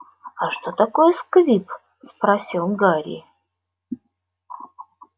а что такое сквиб спросил гарри